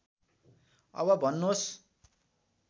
अब भन्नुहोस्